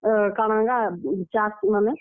ଅ, ସେ କାଣା ଗା ଚାଷ ମାନେ।